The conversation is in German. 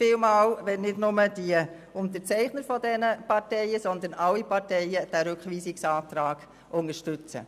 Vielen Dank, wenn nicht nur die Unterzeichner, sondern alle Parteien diesen Rückweisungsantrag unterstützen.